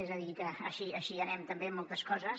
és a dir que així anem també en moltes coses